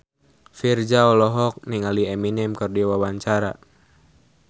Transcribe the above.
Virzha olohok ningali Eminem keur diwawancara